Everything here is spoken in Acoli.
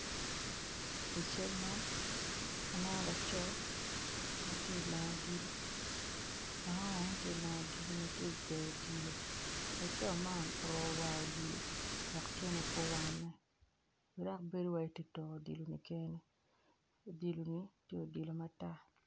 I cal man aneno laco ma tye ka gweyo odilo en oruko war wek tyene pe owanne dok odilo man obedo odilo matek.